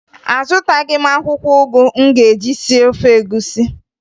Azụtaghị m akwụkwọ ụgụ m ga-eji sie ofe egwusi